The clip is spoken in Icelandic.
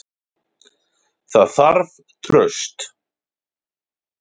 Það þarf traust.